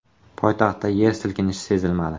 Poytaxtda yer silkinishi sezilmadi.